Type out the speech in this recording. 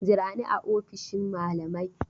Jira ni a ofishin malamai!